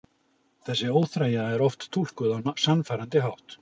Þessi óþreyja er oft túlkuð á sannfærandi hátt.